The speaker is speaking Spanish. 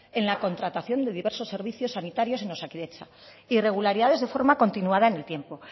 en la contratación de diversos servicios sanitarios en osakidetza irregularidades de forma continuada en el tiempo